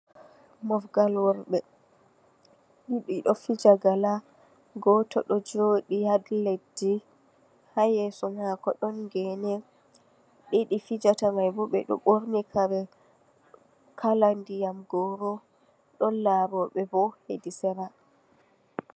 Mofgal worɓɓe, ɗiɗi ɗo fija gala, goto ɗo joɗi ha ledi, ha yesso mako ɗon gene, ɗiɗi fijata mai bo ɓe ɗo ɓorni kare kala ndiyam goro, ɗon laro ɓe bo ha sera.